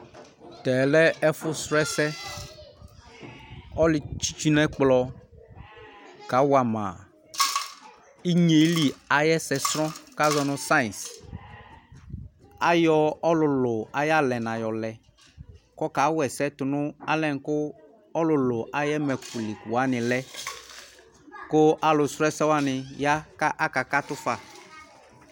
Tɛɛ lɛ ɛfʋsrɔ ɛsɛ Ɔlʋtsɩ itsu nʋ ɛkplɔ kawa ma inye yɛ li ayʋ ɛsɛsrɔ kʋ azɔ nʋ sayɩns Ayɔ ɔlʋlʋ ayʋ alɛna yɔlɛ kʋ ɔkawa ɛsɛ tʋ nʋ alɛna yɛ kʋ ɔlʋlʋ ayʋ ɛmɛkʋ li kʋ wanɩ lɛ kʋ alʋsrɔ ɛsɛ wanɩ ya kʋ akakatʋ fa